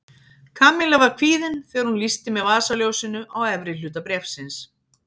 Kamilla var kvíðin þegar hún lýsti með vasaljósinu á efri hluta bréfsins.